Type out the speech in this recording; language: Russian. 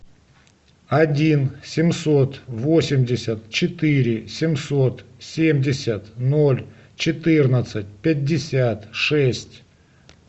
один семьсот восемьдесят четыре семьсот семьдесят ноль четырнадцать пятьдесят шесть